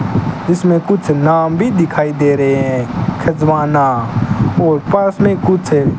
इसमें कुछ नाम भी दिखाई दे रहे हैं खजवाना और पास में कुछ--